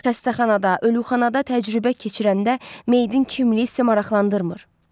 Xəstəxanada, ölüxanada təcrübə keçirəndə meyidin kimliyi sizi maraqlandırmır.